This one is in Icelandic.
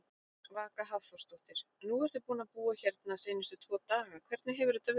Vaka Hafþórsdóttir: Nú ertu búinn að búa hérna seinustu tvo daga, hvernig hefur þetta verið?